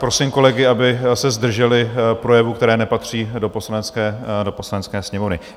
Prosím kolegy, aby se zdrželi projevů, které nepatří do Poslanecké sněmovny.